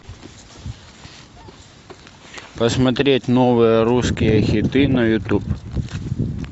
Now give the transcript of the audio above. посмотреть новые русские хиты на ютуб